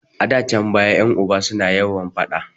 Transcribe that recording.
A da can baya ƴan uba su na yawan faɗa